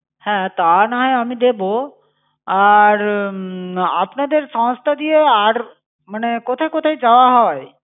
হ্যাঁ, তা না হয় আমি দেবো। আর উম আপনাদের সংস্থা দিয়ে, আর মানে কোথায় কোথায় যাওয়া হয়?